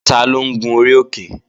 Taló ń gun orí òkè?